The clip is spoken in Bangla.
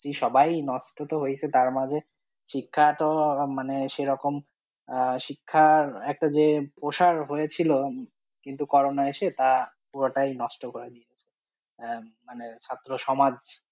নষ্ট তো হয়েছে তার মাঝে শিক্ষা তো মানে সেরকম আহ শিক্ষা একটা যে প্রসার হয়েছিল, কিন্তু করোনা এসে তা পুরোটাই নষ্ট করে দিয়েছে আহ মানে ছাত্রসমাজ।